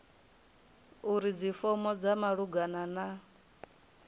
uri dzifomo dza malugana na